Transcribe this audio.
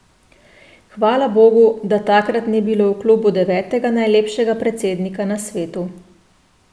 Hvala bogu, da takrat ni bilo v klubu devetega najlepšega predsednika na svetu.